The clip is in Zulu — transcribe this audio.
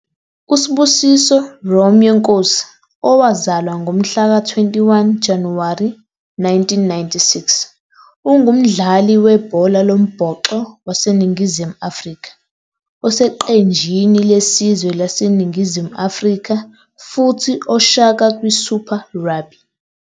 US'busiso Romeo Nkosi, owazalwa ngomhlaka 21 Januwari 1996, ungumdlali webhola lombhoxo waseNingizimu Afrika oseqenjini lesizwe laseNingizimu Afrika futhi Oshaka kwiSuper Rugby.